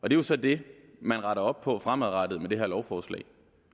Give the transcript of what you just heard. jo så det man retter op på fremadrettet med det her lovforslag